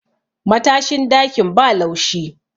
matashin dakin ba laushi